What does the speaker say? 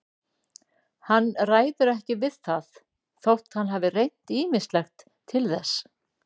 Hann ræður ekki við það þótt hann hafi reynt ýmislegt til þess.